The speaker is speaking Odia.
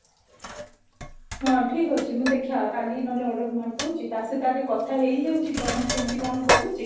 ଠିକ ଅଛି ମୁଁ ଦେଖିବା କାଲି ନହେଲେ order ମାରିଦଉଚି ଟା ସହିତ ଆଗେ କଥା ହେଇଯାଉଚି କଣ କେମତି କଣ କହୁଚି